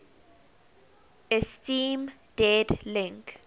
esteem dead link